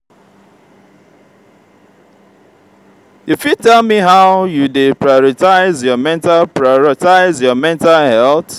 you fit tell me how you dey prioritize your mental prioritize your mental health?